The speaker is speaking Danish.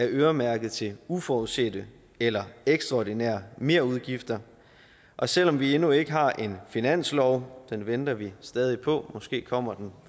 øremærket til uforudsete eller ekstraordinære merudgifter og selv om vi endnu ikke har en finanslov den venter vi stadig på måske kommer den